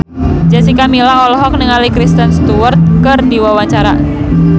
Jessica Milla olohok ningali Kristen Stewart keur diwawancara